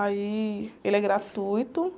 Aí ele é gratuito